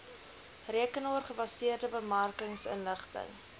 rekenaar gebaseerde bemarkingsinligting